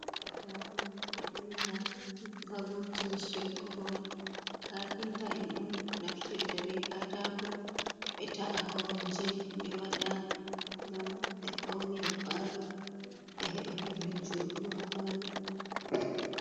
Katako ta'ega ha vurtini shep korowal, cafinta en un naftirta be katako, be ta'a korumje be wada gam be faunira palo, gam be heba pellel njodugo ha palo.